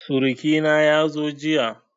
Suruƙi na ya zo jiya